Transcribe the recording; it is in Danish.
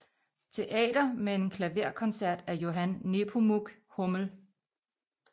Teater med en klaverkoncert af Johann Nepomuk Hummel